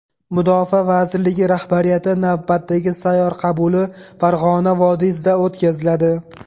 Mudofaa vaziriligi rahbariyati navbatdagi sayyor qabuli Farg‘ona vodiysida o‘tkaziladi.